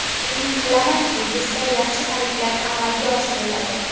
Umid qilamanki, bizda yaxshi xaridlar amalga oshiriladi.